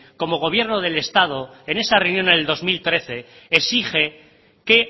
como gobierno del estado en esa reunión en el dos mil trece exige que